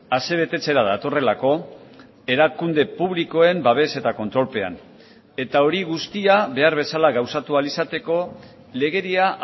asebetetzera datorrelako erakunde publikoen babes eta kontrolpean eta hori guztia behar bezala gauzatu ahal izateko legedia